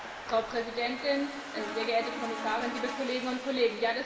Frau Präsidentin, sehr geehrte Kommissarin, liebe Kolleginnen und Kollegen!